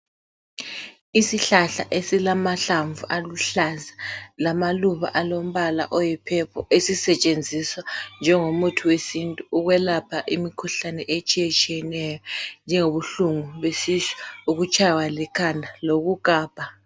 Isihlahla esilamahlamvu aluhlaza lamaluba alombala oyi purple . Ezisetshenziswa njengomuthi wesintu ukwelapha imikhuhlane etshiyetshiyeneyo .Njengobuhlungu besisu ,ukutshaywa likhanda lokugabha.